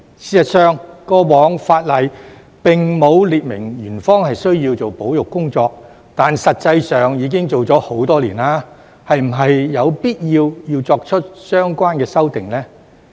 事實上，過往法例並沒有列明園方需要做保育工作，但實際上已做了很多年，是否有必要作出相關修訂呢？